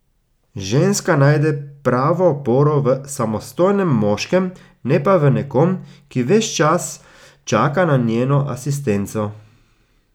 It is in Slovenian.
Ženska najde pravo oporo v samostojnem moškem, ne pa v nekom, ki ves čas čaka na njeno asistenco.